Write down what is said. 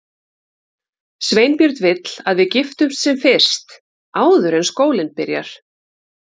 Sveinbjörn vill að við giftumst sem fyrst, áður en skólinn byrjar.